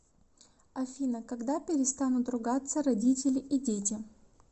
афина когда перестанут ругаться родители и дети